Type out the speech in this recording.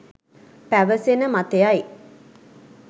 පැවසෙන මතයයි